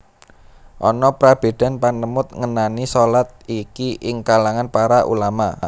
Ana prabédan panemut ngenani shalat iki ing kalangan para ulama